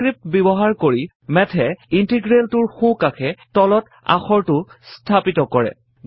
subscript ব্যৱহাৰ কৰি Math এ ইন্টিগ্ৰেলটোৰ সোঁকাষে তলত আখৰটো স্থাপিত কৰে